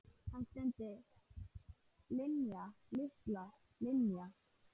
Hann stundi: Linja, litla Linja.